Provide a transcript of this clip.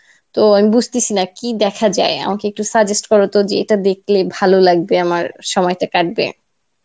তো আমি বুঝতেসি না কি দেখা যায় আমাকে একটু suggest করো তো যে এটা দেখলে ভালো লাগবে আমার সময়টা কাঠবে.